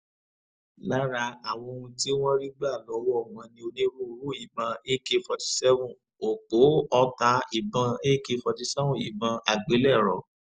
lára àwọn ohun tí wọ́n rí gbà lọ́wọ́ wọn ni onírúurú ìbọn ak forty seven òpó ọta ìbọn ak forty seven ìbọn àgbélẹ̀rọ